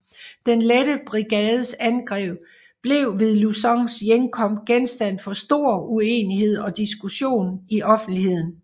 Den Lette Brigades angreb blev ved Lucans hjemkomst genstand for stor uenighed og diskussion i offentligheden